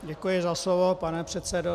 Děkuji za slovo, pane předsedo.